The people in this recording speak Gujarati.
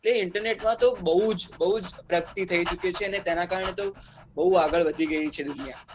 તે internet માં તો બહું જ બહુ જ પ્રગતિ થઈ ચુકી છે અને તેના કારણે તો બહુ આગળ વધી ગઈ છે દુનિયા